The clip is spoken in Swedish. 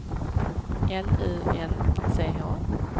L U N C H